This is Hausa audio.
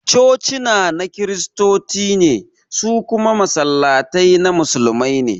Cocina na Kiristoci ne, su kuma Masallatai na Musulmai ne